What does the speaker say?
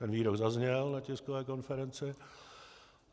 Ten výrok zazněl na tiskové konferenci.